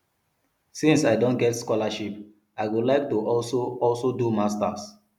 since i don get scholarship i go like to also also do masters